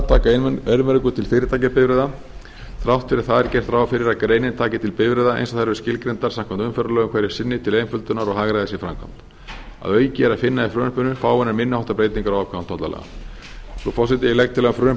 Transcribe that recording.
taka einvörðungu til fyrirtækjabifreiða þrátt fyrir það er gert ráð fyrir að greinin taki til bifreiða eins og þær eru skilgreindar samkvæmt umferðarlögum hverju sinni til einföldunar og hagræðis í framkvæmd að auki er að finna í frumvarpinu fáeinar minni háttar breytingar á ákvæðum tollalaga frú forseti ég legg til að frumvarpinu